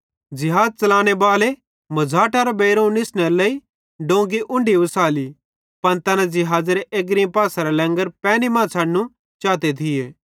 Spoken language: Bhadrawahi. ज़िहाज़ च़लाने बाले मुझ़ाटेरां बेइरोवं निसनेरे लेइ डोंगी उन्ढी ओसाली पन तैना ज़िहाज़ेरे एग्री पासेरां लैंग्र पैनी मां छ़डनू चाते थिये